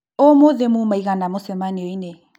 ũmũthĩ muma aigana mũcemanio-inĩ